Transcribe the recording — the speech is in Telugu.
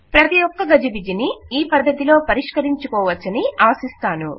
ప్రతి ఒక్క గజిబిజిని ఈ పధ్దతిలో పరిష్కరించుకోవచ్చని ఆశిస్తాను